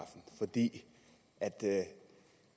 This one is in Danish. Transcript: det